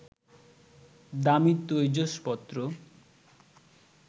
দামি তৈজসপত্র